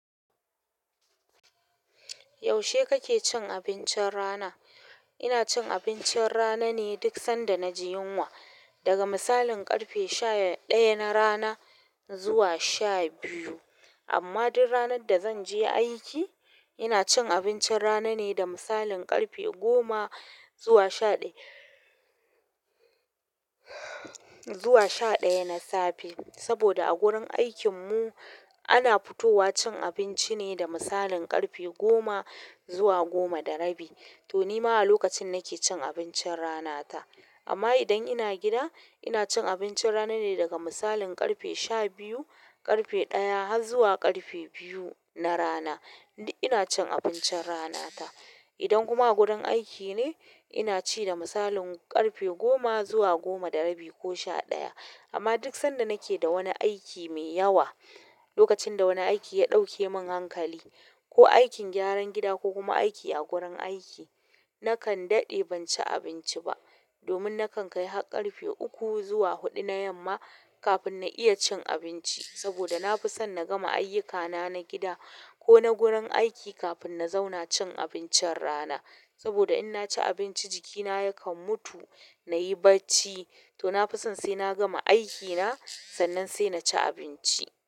Yaushe kake cin abincin rana? Ina cin abincin rana ne duk sanda na ji yunwa. Daga misalin ƙarfe sha ɗaya na rana zuwa sha biyu. Amma duk ranar da zan je aiki, ina cin abincin rana ne da misalin ƙarfe goma zuwa sha ɗaya, zuwa sha ɗaya na safe. Saboda a gurin aikin mu ana fitowa cin abinci ne da misalin ƙarfe goma zuwa goma da rabi. To ni ma a lokacin nake cin abincin rana ta. Amma idan ina gida, ina cin abincin rana ne daga misalin ƙarfe sha biyu, ƙarfe ɗaya har zuwa ƙarfe biyu na rana. Duk ina cin abincin ranata idan kuma a gurin aiki ne, ina ci da misalin ƙarfe goma zuwa goma da rabi ko sha ɗaya. Amma duk sanda nake da wani aiki mai yawa, lokacin da wani aiki ya ɗauke mun hankali, ko aikin gyaran gida ko kuma aiki a gurin aiki, nakan daɗe ban ci abinci ba. Domin nakan kai har ƙarfe uku zuwa huɗu na yamma kafin na iya cin abinci. Saboda na fi son na gama ayyukana na gida ko na gurin aiki kafin na zauna cin abincin rana. Saboda in na ci abinci jikina yakan mutu, na yi barci. To na fi son sai na gama aikina, sannan sai na ci abinci.